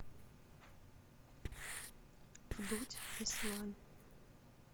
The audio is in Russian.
вдудь беслан